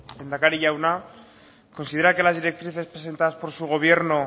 lehendakari jauna considera que las directrices presentadas por su gobierno